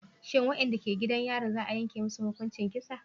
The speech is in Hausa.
Shin wadanda ke gidan yarin za a yanke musu hukuncin kisa